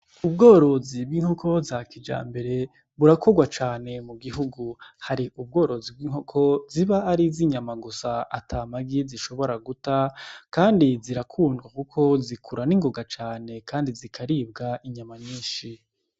Ubworozi bw'inkoko za kijambere burakorwa cane mu gihugu, hari ubworozi bw'inkoko ziba ari iz'inyama gusa ata magi zishobora guta kandi zirakundwa kuko zikura ningoga cane kandi zikaribwa inyama nyinshi.